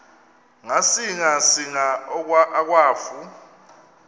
ngasinga singa akwafu